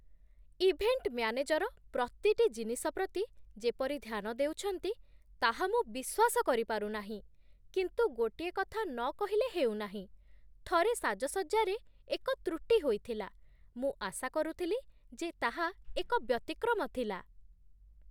Event manager ପ୍ରତିଟି ଜିନିଷ ପ୍ରତି ଯେପରି ଧ୍ୟାନ ଦେଉଛନ୍ତି, ତାହା ମୁଁ ବିଶ୍ୱାସ କରିପାରୁ ନାହିଁ, କିନ୍ତୁ ଗୋଟିଏ କଥା ନ କହିଲେ ହେଉନାହିଁ, ଥରେ ସାଜସଜ୍ଜାରେ ଏକ ତ୍ରୁଟି ହୋଇଥିଲା। ମୁଁ ଆଶା କରୁଥିଲି ଯେ ତାହା ଏକ ବ୍ୟତିକ୍ରମ ଥିଲା।